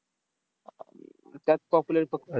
त्यात popular फक्त